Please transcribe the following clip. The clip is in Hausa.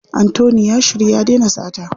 Anthony ya shiryu ya dena sata.